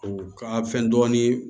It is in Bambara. U ka fɛn dɔɔnin